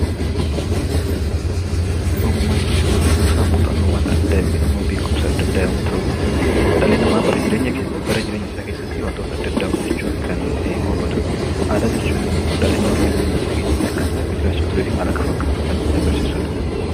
Ogummaa jechuun kuusaa muuxannoowwan adda addaa yookiin immoo beekumsa adda addaa yommuu ta'u, dhalli namaa bara jireenya bara jireenya isaa keessatti wantoota adda addaa hojjechuun kan gonfatu dha. Aadaa jechuun immoo dhalli namaa bara jireenya isaa keessatti akkamitti akka jiraachaa turee fi maal akka fakkaatu kan agarsiisu dha.